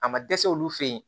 A ma dɛsɛ olu fe ye